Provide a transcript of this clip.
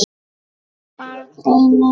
Barn: Einar.